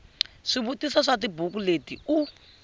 swivutiso swa tibuku leti u